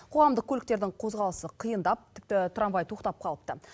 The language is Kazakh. қоғамдық көліктердің қозғалысы қиындап тіпті трамвай тоқтап қалыпты